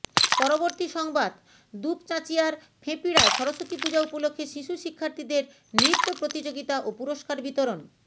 পরবর্তী সংবাদ দুপচাঁচিয়ার ফেঁপিড়ায় সরস্বতী পূজা উপলক্ষে শিশু শিক্ষার্থীদের নৃত্য প্রতিযোগিতা ও পুরস্কার বিতরণ